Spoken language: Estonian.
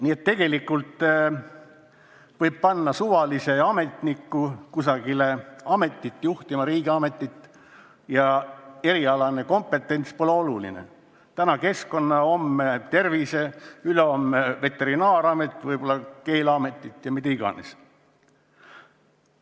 Nii et tegelikult võib panna suvalise ametniku mingisugust ametit juhtima, riigiametit, ja erialane kompetents pole oluline – täna keskkonna-, homme tervise-, ülehomme veterinaaramet, millalgi võib-olla keeleamet või mis iganes muu amet.